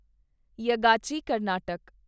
ਯਾਗਾਚੀ Karnataka